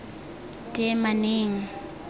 teemaneng